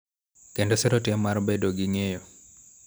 Kendo siro tim mar bedo gi ng�eyo.